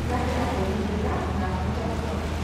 Mwanake akĩhumbĩka na akĩhota gũkoma.